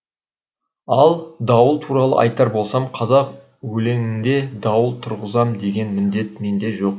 ал дауыл туралы айтар болсам қазақ өлеңінде дауыл тұрғызам деген міндет менде жоқ